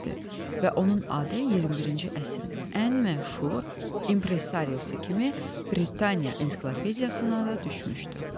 Və onun adı 21-ci əsrin ən məşhur impressariosu kimi Britaniya ensiklopediyasına da düşmüşdü.